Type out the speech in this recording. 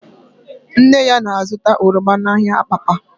Nne ya na-azụta oroma n'ahịa Abakpa